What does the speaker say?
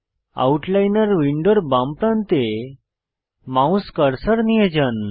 আউটলাইনর উইন্ডোর বাম প্রান্তে মাউস কার্সার নিয়ে যান